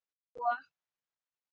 kallaði Lóa.